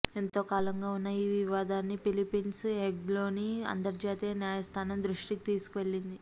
ఎంతోకాలంగా ఉన్న ఈ వివాదాన్ని ఫిలి ప్పీన్స్ హేగ్లోని అంతర్జాతీయ న్యాయస్థానం దృష్టికి తీసుకువెళ్లింది